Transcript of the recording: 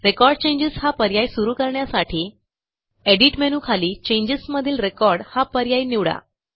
record changes हा पर्याय सुरू करण्यासाठी एडिट मेनूखाली चेंजेस मधील रेकॉर्ड हा पर्याय निवडा